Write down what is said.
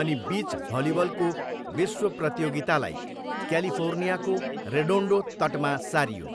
अनि बिच भलिबलको विश्व प्रतियोगितालाई क्यालिफोर्नियाको रेडोन्डो तटमा सारियो।